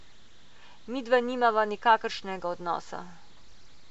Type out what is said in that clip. Midva nimava nikakršnega odnosa.